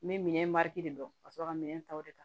N bɛ minɛn dɔn ka sɔrɔ ka minɛn ta o de kan